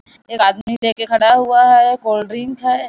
एक आदमी के खड़ा हुआ है कोल्ड ड्रिंक है।